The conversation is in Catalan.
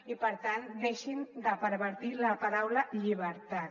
i per tant deixin de pervertir la paraula llibertat